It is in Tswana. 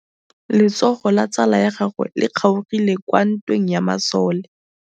Letsôgô la tsala ya gagwe le kgaogile kwa ntweng ya masole.